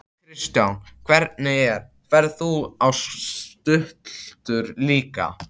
Kristján: Hvernig er, ferð þú á stultur líka?